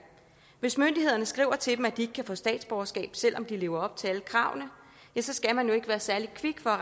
hvis myndighederne skriver til dem at de ikke kan få statsborgerskab selv om de lever op til alle kravene ja så skal man jo ikke være særlig kvik for